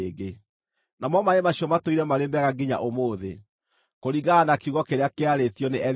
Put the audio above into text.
Namo maaĩ macio matũire marĩ mega nginya ũmũthĩ, kũringana na kiugo kĩrĩa kĩarĩtio nĩ Elisha.